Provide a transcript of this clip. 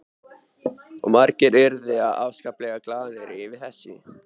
Og margir urðu afskaplega glaðir yfir þessu.